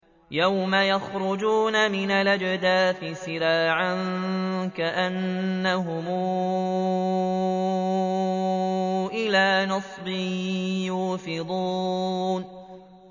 يَوْمَ يَخْرُجُونَ مِنَ الْأَجْدَاثِ سِرَاعًا كَأَنَّهُمْ إِلَىٰ نُصُبٍ يُوفِضُونَ